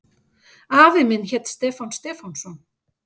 Afi minn hét Stefán Stefánsson.